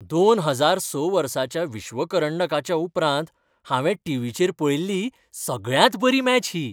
दोन हजार स वर्साच्या विश्वकरंडकाच्या उपरांत हांवें टिवीचेर पळयल्ली सगळ्यांत बरी मॅच ही.